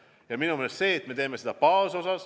Ja minu meelest on oluline, et me suurendame baasosa.